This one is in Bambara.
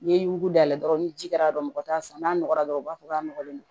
N'i ye yuguda dɔrɔn ni ji kɛr'a kan mɔgɔ t'a san n'a nɔgɔra dɔrɔn u b'a fɔ k'a nɔgɔlen don